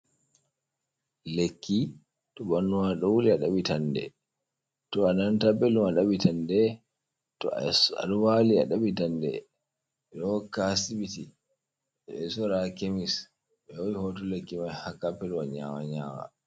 Lekki, to ɓanduma ɗou wuli aɗabɓitande, to ananata belɗum aɗabɓitande, to a es aɗon wali aɗabɓitande, ɓeɗo hokka ha sibiti. Ɓeɗo sorra ha Kemis ɓe ho'i hooto lekki mai ha dou kapetwa nyawa nyawani.